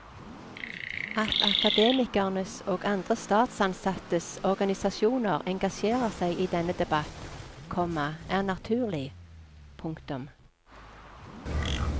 At akademikernes og andre statsansattes organisasjoner engasjerer seg i denne debatt, komma er naturlig. punktum